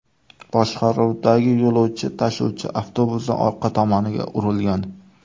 boshqaruvidagi yo‘lovchi tashuvchi avtobusning orqa tomoniga urilgan.